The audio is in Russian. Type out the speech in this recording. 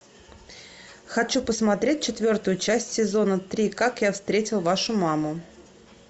хочу посмотреть четвертую часть сезона три как я встретил вашу маму